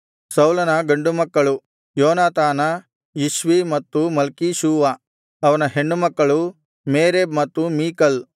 ಸೌಲನ ಗಂಡು ಮಕ್ಕಳು ಯೋನಾತಾನ ಇಷ್ವಿ ಮತ್ತು ಮಲ್ಕೀಷೂವ ಅವನ ಹೆಣ್ಣು ಮಕ್ಕಳು ಮೇರಬ್ ಮತ್ತು ಮೀಕಲ್